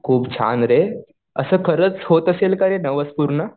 खूप छान रे. असं खरंच होत असेल का रे नवस पूर्ण?